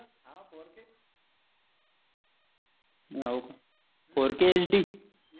fourkH. D